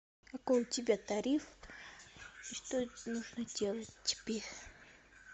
какой у тебя тариф и что нужно делать тебе